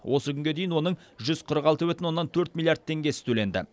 осы күнге дейін оның жүз қырық алты бүтін оннан төрт миллиард теңгесі төленді